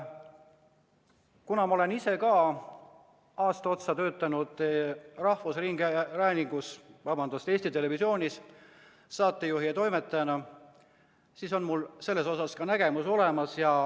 Kuna ma olen ise ka aasta otsa töötanud Eesti Televisioonis saatejuhi ja toimetajana, siis on mul selles osas nägemus olemas.